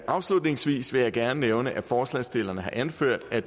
afslutningsvis vil jeg gerne nævne at forslagsstillerne har anført at